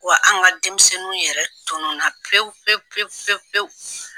Wa an ka denmisɛnninw yɛrɛ tunu na pewu pewu pewu pewu.